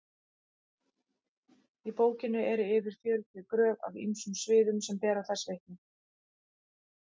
í bókinni eru yfir fjörutíu gröf af ýmsum sviðum sem bera þessu vitni